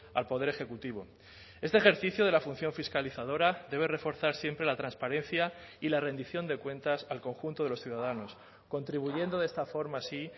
al poder ejecutivo este ejercicio de la función fiscalizadora debe reforzar siempre la transparencia y la rendición de cuentas al conjunto de los ciudadanos contribuyendo de esta forma así